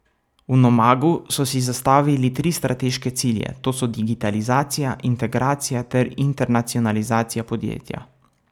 V Nomagu so si zastavili tri strateške cilje, to so digitalizacija, integracija ter internacionalizacija podjetja.